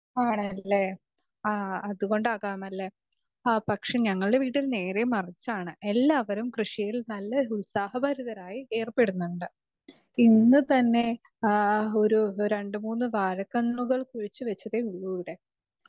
speaker 2 ആണല്ലേ അതുകൊണ്ടാകാമെല്ലെ പക്ഷെ ഞങ്ങളുടെ വീട്ടിൽ നേരെ മറിച്ചാണ് എല്ലാരും കൃഷിയിൽ ഉത്സാഹപരിതമായി ഏർപ്പെടുന്നുണ്ട് ഇന്ന് തന്നെ രണ്ടുമൂന്ന് വാഴ കന്നുകൾ കുഴിച്ച് വച്ചതെ ഉള്ളു ഇവിടെ